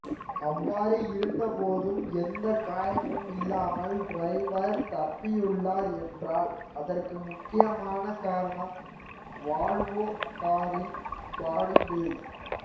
அவ்வாறு இருந்த போதும் எந்த காயமும் இல்லாமல் டிரைவர் தப்பியுள்ளார் என்றால் அதற்கு முக்கியமான காரணம் வால்வோ காரின் பாடிபில்ட்